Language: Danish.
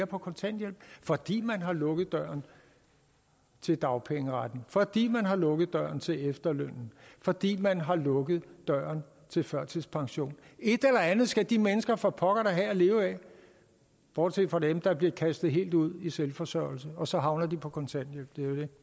på kontanthjælp fordi man har lukket døren til dagpengeretten fordi man har lukket døren til efterlønnen fordi man har lukket døren til førtidspensionen et eller andet skal de mennesker da for pokker have at leve af bortset fra dem der bliver kastet helt ud i selvforsørgelse og så havner de på kontanthjælp